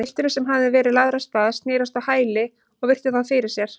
Pilturinn, sem hafði verið lagður af stað, snerist á hæli og virti þá fyrir sér.